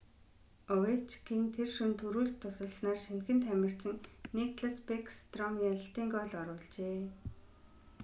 овечкин тэр шөнө түрүүлж тусалснаар шинэхэн тамирчин никлас бэкстром ялалтын гоол оруулжээ